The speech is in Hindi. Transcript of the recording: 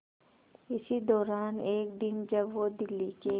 इसी दौरान एक दिन जब वो दिल्ली के